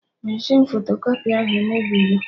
Meshịn fotokọpị ahụ emebigo